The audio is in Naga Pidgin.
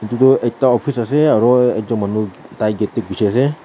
Etu ekta office ase aro ekjun manu tai gate dae ghushi ase.